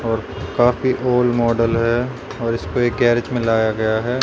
और काफी old model है और इसपे एक गैरिज में लाया गया है।